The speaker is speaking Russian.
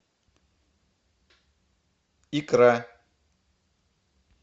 икра